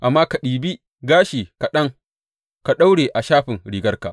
Amma ka ɗibi gashi kaɗan ka daure a shafin rigarka.